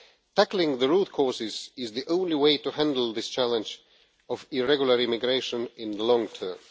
Tackling the root causes is the only way to handle this challenge of irregular immigration in the long term.